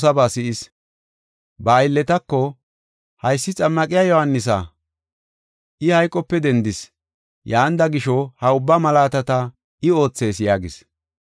Ba aylletako, “Haysi Xammaqiya Yohaanisa; I hayqope dendis. Yaanida gisho, ha ubbaa malaatata I oothees” yaagis.